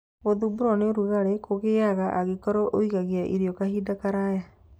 Gũthumbũrũo nĩ ũrugarĩ kũgĩaga angĩkorũo ũigagia irio kahinda karaya.